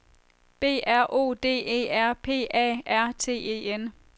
B R O D E R P A R T E N